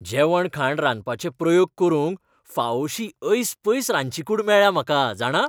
जेवणखाण रांदपाचे प्रयोग करूंक फावोशी ऐसपैस रांदचीकूड मेळ्ळ्या म्हाका, जाणा?